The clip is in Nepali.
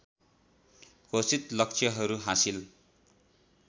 घोषित लक्ष्यहरू हासिल